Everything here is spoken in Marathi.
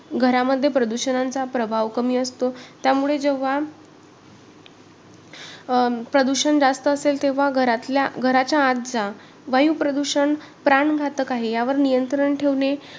क्रिया शरीर हा विषय क्रिया शरीर या विषयांमध्ये शरीराच्या सर्व काही क्रिया कशा घडतात व का घडतात याबद्दल माहिती सांगितली सांगितलेली आहे .